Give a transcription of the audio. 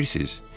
Bilirsiz?